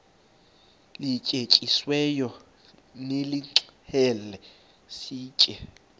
lityetyisiweyo nilixhele sitye